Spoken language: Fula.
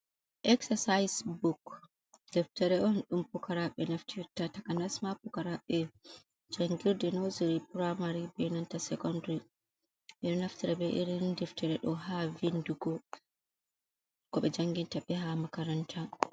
Ek-sasais buk deftare’on dum bukaraɓe naftita. Taka nasma bukaraɓe jangir de nosery, primary be nanta sekondiri. Beɗo naftita be irin deftare do ha vindugo koɓe jangin taɓe ha makaranta.